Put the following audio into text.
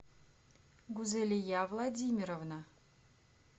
гузелия владимировна